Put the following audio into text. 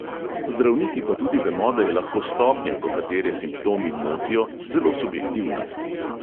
Zdravniki pa tudi vemo, da je lahko stopnja, do katere simptomi motijo, zelo subjektivna.